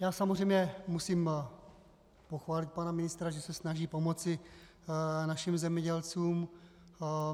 Já samozřejmě musím pochválit pana ministra, že se snaží pomoci našim zemědělcům.